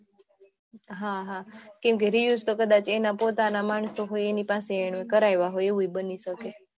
હમ્મ review તો કદાચ એના પોતાના માણસો હોય એની પાસે એને કરાવ્યા હોય એવું પણ બની શકે